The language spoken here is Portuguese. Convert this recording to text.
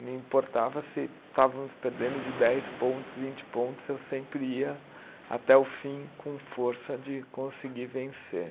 Não importava se estávamos perdendo de dez pontos, vinte pontos, eu sempre ia até o fim com força de conseguir vencer.